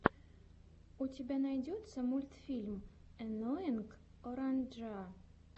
у тебя найдется мультфильм энноинг оранджа